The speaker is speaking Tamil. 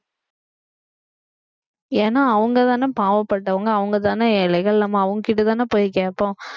ஏன்னா அவங்கதானே பாவப்பட்டவங்க அவங்கதானே ஏழைகள் நம்ம அவங்ககிட்டதானே போய் கேட்போம்